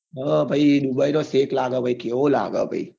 હ ભાઈ દુબઈ નો શેખ લાગે કેવો લાગે ભાઈ